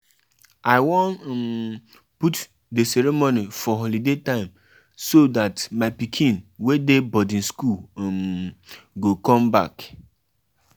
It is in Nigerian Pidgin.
How I go fit dey work fit dey work as woman dey take care of family too.